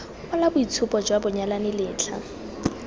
kwala boitshupo jwa banyalani letlha